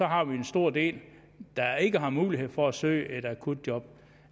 har vi en stor del der ikke har mulighed for at søge et akutjob